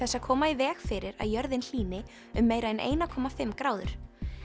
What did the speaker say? að koma í veg fyrir að jörðin hlýni um meira en eina komma fimm gráður